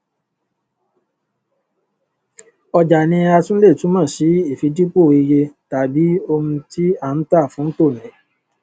ọjà ni a tún le túmọ sí ìfidípò iyetàbí ohun tí à ń tà fún tòní